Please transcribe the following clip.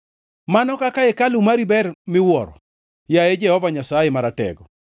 Mano kaka hekalu mari ber miwuoro, yaye Jehova Nyasaye Maratego!